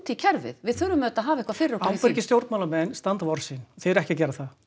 í kerfið við þurfum að hafa eitthvað fyrir okkur í því ábyrgir stjórnmálamenn standa við orð sín og þið eruð ekki að gera það